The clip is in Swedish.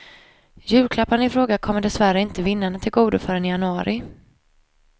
Julklapparna i fråga kommer dessvärre inte vinnarna tillgodo förrän i januari.